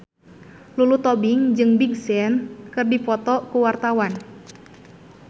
Lulu Tobing jeung Big Sean keur dipoto ku wartawan